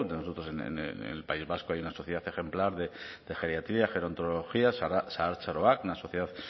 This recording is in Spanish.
nosotros en el país vasco hay una sociedad ejemplar de geriatría gerontología zahartzaroa una sociedad